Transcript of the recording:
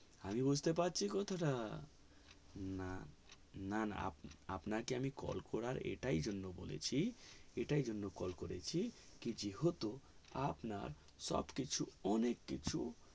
আমি বুজতে পারছি কথা টা না না না আপনাকে আমি call করার এটার জন্য বলেছি এটার জন্য call করেছি যেহেতু আপনার সব অনেক কিছু